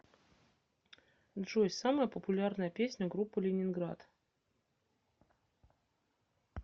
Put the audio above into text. джой самая популярная песня группы лениниград